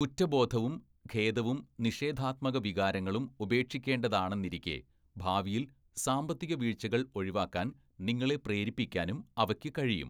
കുറ്റബോധവും ഖേദവും നിഷേധാത്മക വികാരങ്ങളൂം ഉപേക്ഷിക്കേണ്ടതാണെന്നിരിക്കെ, ഭാവിയിൽ സാമ്പത്തികവീഴ്ചകൾ ഒഴിവാക്കാൻ നിങ്ങളെ പ്രേരിപ്പിക്കാനും അവയ്ക്ക് കഴിയും.